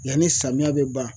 Yanni samiya bɛ ban.